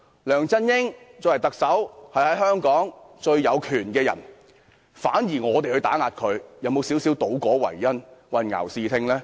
梁振英身為特首，是香港最有權的人，反而說我們打壓他，會否有些倒果為因，混淆視聽呢？